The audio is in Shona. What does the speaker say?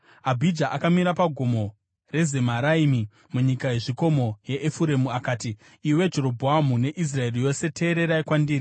Abhija akamira paGomo reZemaraimi munyika yezvikomo yeEfuremu akati, “Iwe Jerobhoamu neIsraeri yose teererai kwandiri!